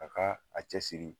A ka a cɛsiri